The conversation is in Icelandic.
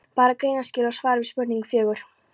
Bara greinaskil og svar við spurningu fjögur.